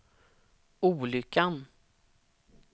olyckan